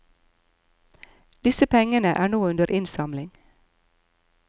Disse pengene er nå under innsamling.